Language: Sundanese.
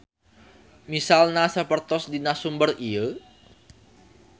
Misalna sapertos dina sumber ieu